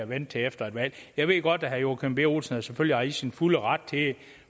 vente til efter et valg jeg ved godt at herre joachim b olsen selvfølgelig er i sin fulde ret